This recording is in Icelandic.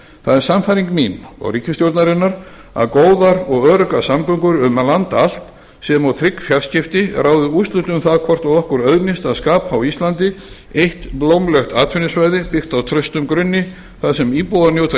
það er sannfæring mín og ríkisstjórnarinnar að góðar og öruggar samgöngur um land allt sem og trygg fjarskipti ráði úrslitum um það hvort okkur auðnist að skapa á íslandi eitt blómlegt atvinnusvæði byggt á traustum grunni þar sem íbúar njóta